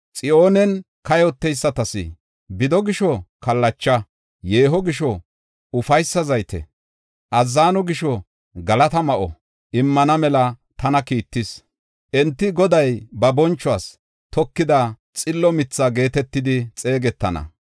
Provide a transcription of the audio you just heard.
Xiyoonen kayoteysatas, bido gisho kallacha, yeeho gisho ufaysa zayte, azzano gisho galata ma7o immana mela tana kiittis. Enti Goday ba bonchuwas tokida xillo mitha geetetidi xeegetana.